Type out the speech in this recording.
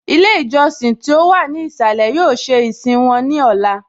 Ilé ìjọsìn tí ó wà ní ìsàlẹ̀ yóò ṣe ìsìn wọn ní Ọla